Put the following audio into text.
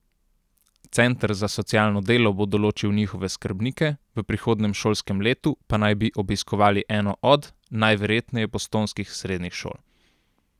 Center za socialno delo bo določil njihove skrbnike, v prihodnjem šolskem letu pa naj bi obiskovali eno od, najverjetneje postojnskih srednjih šol.